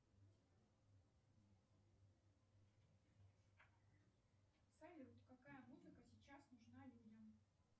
салют какая музыка сейчас нужна людям